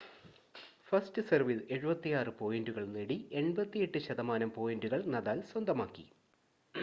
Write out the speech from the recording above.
first സെർവിൽ 76 പോയിൻ്റുകൾ നേടി 88% പോയിൻ്റുകൾ നദാൽ സ്വന്തമാക്കി